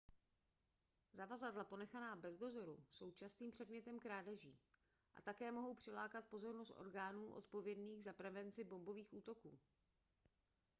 zavazadla ponechaná bez dozoru jsou častým předmětem krádeží a také mohou přilákat pozornost orgánů odpovědných za prevenci bombových útoků